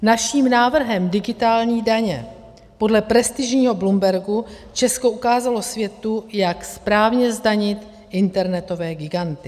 Naším návrhem digitální daně podle prestižního Bloombergu Česko ukázalo světu, jak správně zdanit internetové giganty.